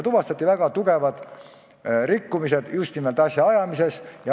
Tuvastati juba väga tugevad rikkumised just nimelt asjaajamises.